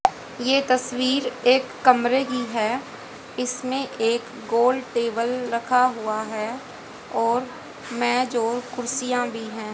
ये तस्वीर एक कमरे की है इसमें एक गोल टेबल रखा हुआ हैं और मेज और कुर्सियां भी हैं।